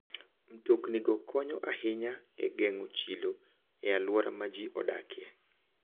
Mtoknigo konyo ahinya e geng'o chilo e alwora ma ji odakie.